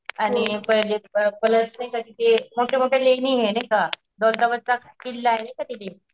आणि पहिले प्लस नाही का तिथे मोठ्या मोठ्या लेणिये नाहीका, दौलताबादचा किल्लाये नाहीका तिथे.